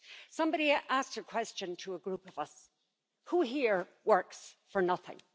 Somebody asked a question of a group of us who here works for nothing?